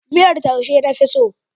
Miyar taushe na fi so.